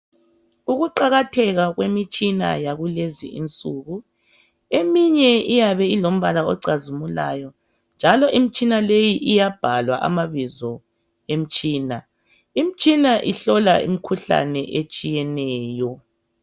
ukuqakatheka kwemitshina yakulezinsuku eminye iyabe ilombala ocazimulayo njalo imtshna leyi iyabhalwa amabizo emtshina, imtshina ihlola imkhuhlane etshiyeneyo